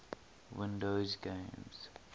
windows games